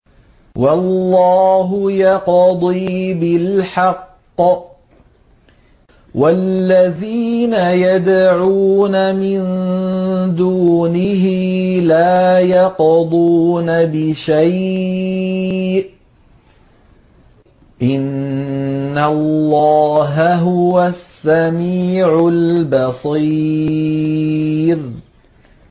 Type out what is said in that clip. وَاللَّهُ يَقْضِي بِالْحَقِّ ۖ وَالَّذِينَ يَدْعُونَ مِن دُونِهِ لَا يَقْضُونَ بِشَيْءٍ ۗ إِنَّ اللَّهَ هُوَ السَّمِيعُ الْبَصِيرُ